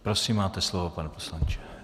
Prosím, máte slovo, pane poslanče.